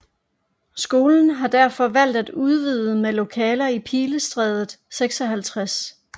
Skolen har derfor valgt at udvide med lokaler i Pilestredet 56